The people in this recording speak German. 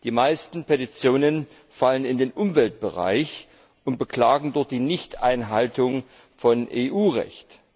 Die meisten Petitionen fallen in den Umweltbereich und beklagen dort die Nichteinhaltung von EU Recht.